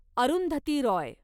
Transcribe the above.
Arundhati Roy